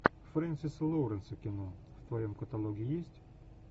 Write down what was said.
фрэнсиса лоуренса кино в твоем каталоге есть